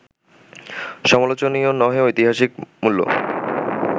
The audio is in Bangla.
সমালোচনীয় নহে-ঐতিহাসিক মূল্য